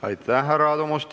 Aitäh, härra Aadu Must!